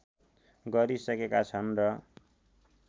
गरि सकेका छन् र